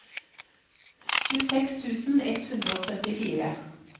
tjueseks tusen ett hundre og syttifire